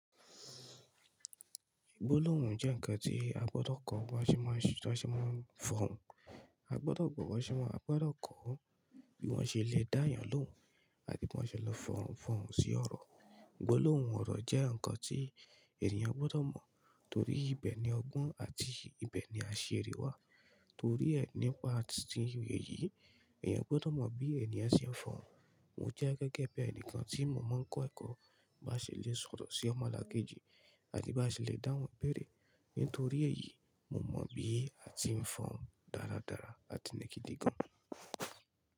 Gbólóhùn jẹ́ ǹkan tí a gbọdọ̀ kọ́ bí wọ́n ṣe máa ń fọ̀hùn. Agbọ́dọ̀ gbọ́ bọ́ ṣe máa ń, agbọ́dọ̀ kọ́ bí wọ́n ṣele dá yàn lóun àbí kí wan ṣele fọ̀hùn fọ̀hùn sí ọ̀rọ̀. Gbólóhùn ọ̀rọ̀ jẹ́ ǹkan tí ènìyàn gbọdọ̀ mọ̀ torí ibẹ̀ ni ọgbọ́n àti ibẹ̀ ni àṣírí wà. Torí ẹ̀ nípa ti ìwé yìí, èèyàn gbọdọ̀ mọ̀ bí ènìyàn ṣe ń fọ̀hùn. Mo jẹ́ gẹ́gẹ́ bí ẹnìkan tí mo máa ń kọ́ ẹ̀kọ́, bá ṣe lè sọ̀rọ̀ sí ọmọlàkejì àti bá ṣe lè dáhùn béèrè. Nítorí èyí mo mọ̀ bí àti ń fọ̀hùn dáaradáara àti ní gidigan.